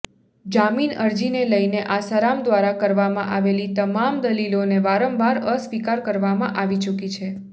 જામીન અરજીને લઇને આસારામ દ્વારા કરવામાં આવેલી તમામ દલીલોને વારંવાર અસ્વીકાર કરવામાં આવી ચુકી છે